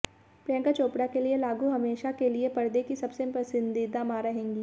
प्रियंका चोपड़ा के लिए लागू हमेशा के लिए पर्दे की सबसे पसंदीदा मां रहेंगी